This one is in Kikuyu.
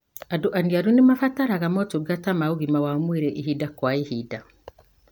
Andũ aniaru nimabataraga motungata ma ũgima wa mwĩrĩ ihinda kwa ihinda.